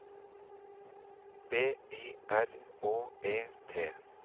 B Y R Å E T